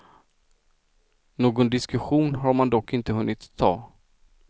Någon diskussion har man dock inte hunnit ha.